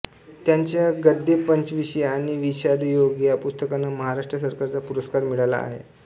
त्यांच्या गद्धेपंचविशी आणि विषादयोग या पुस्तकांना महाराष्ट्र सरकारचा पुरस्कार मिळाला आहे